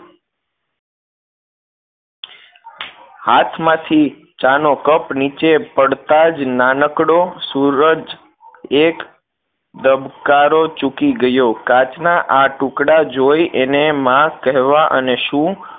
હાથમાંથી ચા નો cup નીચે પડતાં જ નાનકડો સૂરજ એક ધબકારો ચૂકી ગયો કાચ ના આ ટુકડા જોઈ એને માં કહેવા અને શું